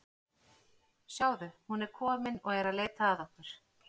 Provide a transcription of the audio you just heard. Sjáðu, hún er komin og er að leita að okkur.